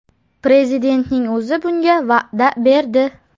Prezidentning o‘zi bunga va’da berdi.